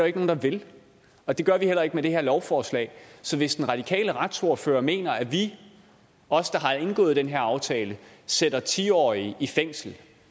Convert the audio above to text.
ikke nogen der vil og det gør vi heller ikke med det her lovforslag så hvis den radikale retsordfører mener at vi os der har indgået den her aftale sætter ti årige i fængsel